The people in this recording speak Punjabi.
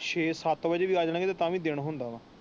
ਛੇਹ ਸੱਤ ਵੱਜੇ ਵੀ ਆ ਜਾਣ ਗਏ ਤਾ ਵੀ ਦਿਨ ਹੁੰਦਾ ਹੈ।